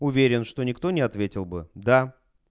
уверен что никто не ответил бы да